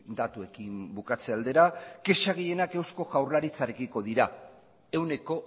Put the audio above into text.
datuekin bukatze aldera kexa gehienak eusko jaurlaritzarekiko dira ehuneko